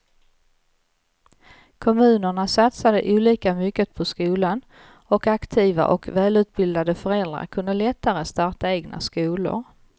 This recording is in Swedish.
Kommunerna satsade olika mycket på skolan och aktiva och välutbildade föräldrar kunde lättare starta egna skolor.